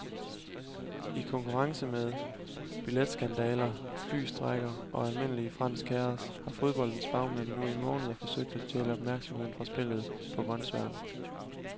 I konkurrence med billetskandaler, flystrejker og almindelig fransk kaos har fodboldens bagmænd nu i måneder forsøgt at stjæle opmærksomheden fra spillet på grønsværen.